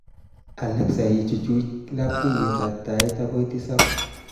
Alexa ichuch labkayetab tait akoi tisab